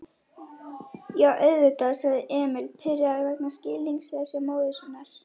Já, auðvitað, sagði Emil, pirraður vegna skilningsleysis móður sinnar.